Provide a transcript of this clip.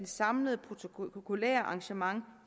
samlede protokolære arrangementer